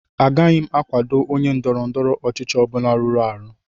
Agaghị m akwado onye ndọrọ ndọrọ ọchịchị ọ bụla rụrụ arụ